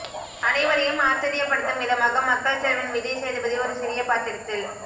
அனைவரையும் ஆச்சர்யப்படுத்தும் விதமாக மக்கள் செல்வன் விஜய் சேதுபதி ஒரு சிறிய பாத்திரத்தில்